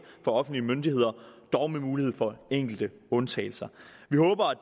for offentlige myndigheder dog med mulighed for enkelte undtagelser